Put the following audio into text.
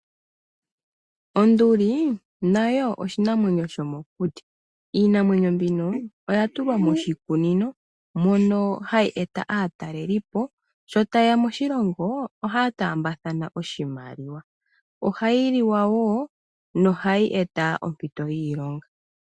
Onduli nayo oshinamwenyo shomokuti, iinamwenyo mbino oya tulwa moshikunino mono hayi eta aatalelipo sho tayeya moshilongo ohaa taambathana oshimaliwa, ohayi liwa woo nohayi eta ompito yiilonga.